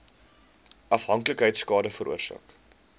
afhanklikheid skade veroorsaak